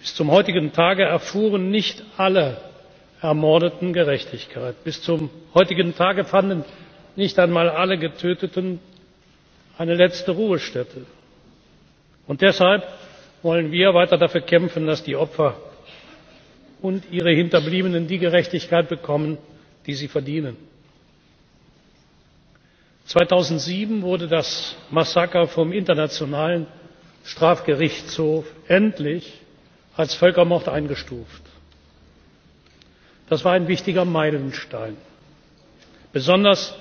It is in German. Bis zum heutigen Tage erfuhren nicht alle Ermordeten Gerechtigkeit. Bis zum heutigen Tage fanden nicht einmal alle Getöteten eine letzte Ruhestätte. Deshalb wollen wir weiter dafür kämpfen, dass die Opfer und ihre Hinterbliebenen die Gerechtigkeit bekommen, die sie verdienen. 2007 wurde das Massaker vom Internationalen Strafgerichtshof endlich als Völkermord eingestuft. Das war ein wichtiger Meilenstein, besonders,